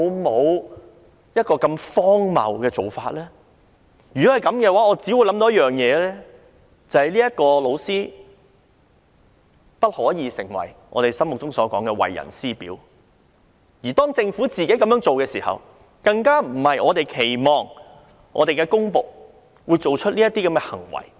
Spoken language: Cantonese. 這只會令我想到一件事，就是這名老師不可以成為我們心目中的為人師表，如果政府這樣做，更不是我們期望公僕會做出的行為。